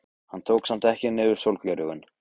Hann tók samt ekki niður sólgleraugun.